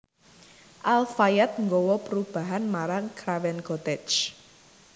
Al Fayed nggawa perubahan marang Craven Cottage